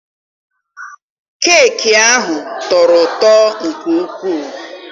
Keeki ahụ tọrọ ụtọ nke ukwu.